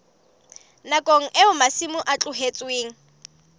nakong eo masimo a tlohetsweng